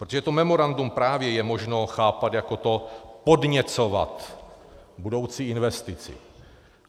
Protože to memorandum je právě možno chápat jako to podněcovat budoucí investici.